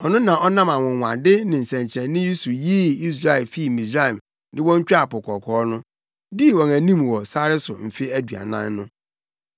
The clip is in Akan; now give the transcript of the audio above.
Ɔno na ɔnam anwonwade ne nsɛnkyerɛnne so yii Israelfo fii Misraim de wɔn twaa Po Kɔkɔɔ no, dii wɔn anim wɔ sare so mfe aduanan no.